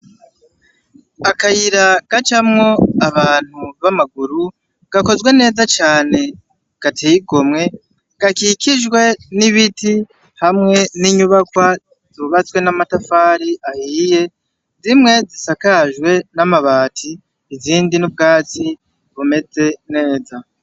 Akayira gacamo abantu bamaguru gakozwe neza cane gateye igomwe gakikijwe n'ibiti hamwe n'inyubakwa zubatswe n'amatafari ahiye zimwe zisakajwe n'amabati izindi n'ubwatsi bumeze neza.